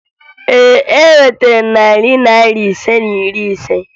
Ee, enwetara m narị Naira ise na iri ise